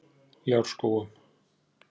Ljárskógum